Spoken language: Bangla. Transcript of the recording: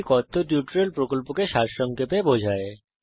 এটি কথ্য টিউটোরিয়াল প্রকল্পকে সংক্ষেপে বিবরণ করে